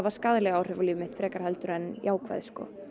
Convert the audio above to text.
skaðleg áhrif á líf mitt frekar en jákvæð og